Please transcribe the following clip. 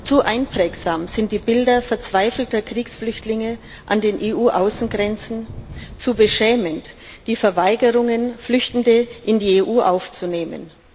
Zu einprägsam sind die Bilder verzweifelter Kriegsflüchtlinge an den EU Außengrenzen, zu beschämend die Verweigerungen, Flüchtende in die EU aufzunehmen.